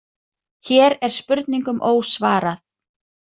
Hér er spurningum ósvarað.